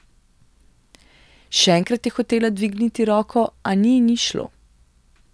Še enkrat je hotela dvigniti roko, a ni in ni šlo.